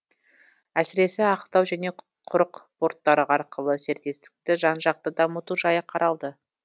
әсіресе ақтау және құрық порттары арқылы серіктестікті жан жақты дамыту жайы қаралды